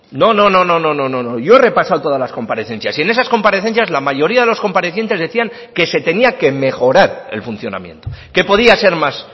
no yo he repasado todas las comparecencias y en esas comparecencias la mayoría de los comparecientes decían que se tenía que mejorar el funcionamiento que podía ser más